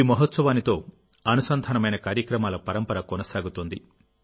ఈ మహోత్సవానితో అనుసంధానమైన కార్యక్రమాల పరంపర కొనసాగుతోంది